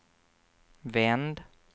vänd